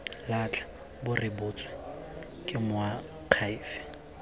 latlha bo rebotswe ke moakhaefe